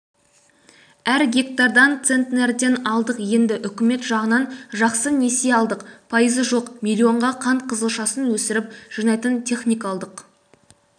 әр гектардан центнерден алдық енді үкімет жағынан жақсы несие алдық пайызы жоқ миллионға қант қызылшасын өсіріп жинайтын техника алдық